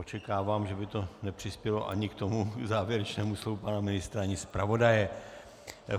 Očekávám, že by to nepřispělo ani k tomu závěrečnému slovu pana ministra ani zpravodaje.